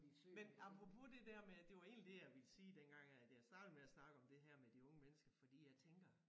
Men apropos det der med det var egentlig det ville sige dengang at jeg startede med at snakke om det her med de unge mennesker fordi jeg tænker